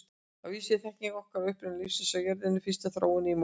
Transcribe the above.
Að vísu er þekking okkar á uppruna lífsins á jörðinni og fyrstu þróun í molum.